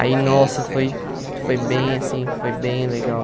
Aí, nossa, foi... Foi bem, assim, foi bem legal.